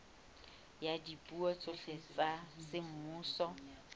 ya dipuo tsohle tsa semmuso